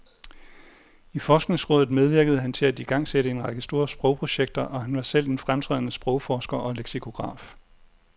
I forskningsrådet medvirkede han til at igangsætte en række store sprogprojekter, og han var selv en fremtrædende sprogforsker og leksikograf.